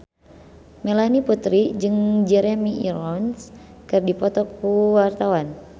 Melanie Putri jeung Jeremy Irons keur dipoto ku wartawan